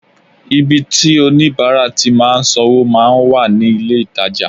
Ibi tí oníbàárà ti máa sanwó máa ń wà ní ilé-ìtajà